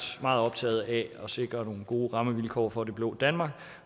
meget optaget af at sikre nogle gode rammevilkår for det blå danmark